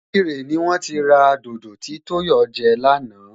Ìkirè ni wón ti ra dodo tí Tóyọ̀ jẹ lánàá